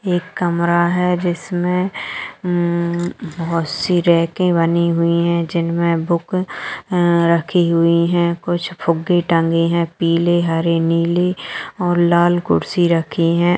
एक कमरा है जिसमे बहुत सी रैके बनी है हुई है जिनमे बुक रखी हुई है कुछ फुग्गे टंगे है पीले हरे नीले और लाल कुर्सी रखी है।